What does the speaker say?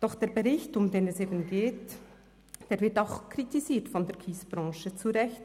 Doch der Bericht, um den es eben geht, wird auch von der Kiesbranche kritisiert – zu Recht: